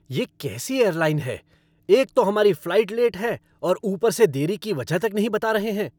ये कैसी एयरलाइन है! एक तो हमारी फ़्लाइट लेट है और ऊपर से देरी की वजह तक नहीं बता रहे हैं।